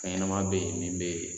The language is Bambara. Fɛnɲɛnama bɛ yen min bɛ yen